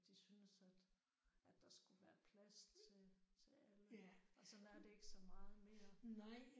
De synes at at der skulle være plads til til alle og sådan er det ikke så meget mere